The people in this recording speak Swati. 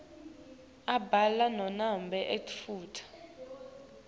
abhala nanobe etfula